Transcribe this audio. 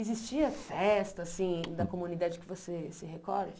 Existia festa, assim, da comunidade que você se recorde?